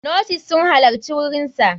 Nurses sun halarci wurinsa.